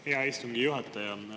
Hea istungi juhataja!